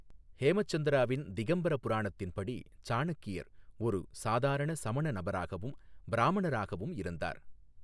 ஹேமசந்திராவின் திகம்பர புராணத்தின் படி, சாணக்கியர் ஒரு சாதாரண சமண நபராகவும், பிராமணராகவும் இருந்தார்.